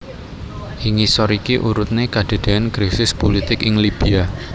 Ing ngisor iki urutne kedadean krisis pulitik ing Libya